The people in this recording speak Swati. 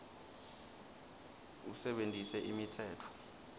usebentise imitsetfo